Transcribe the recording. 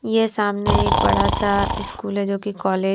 यह सामने एक बड़ा सा स्कूल है जो कि कॉलेज --